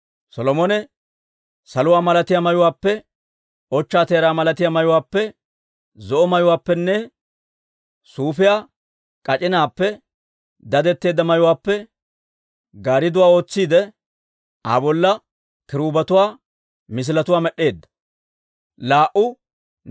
Solomone saluwaa malatiyaa mayuwaappe, ochchaa teeraa malatiyaa mayuwaappe, zo'o mayuwaappenne suufiyaa k'ac'inaappe dadetteedda mayuwaappe gaaridduwaa ootsiide, Aa bolla kiruubetuwaa misiletuwaa med'd'eedda.